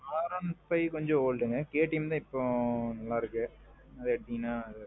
R one five கொஞ்ச oldங்க, KTM தான் இப்போ நல்லா இருக்கு. அது எடுத்தீங்கனா.